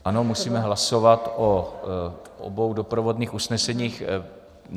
Ano, musíme hlasovat o obou doprovodných usneseních.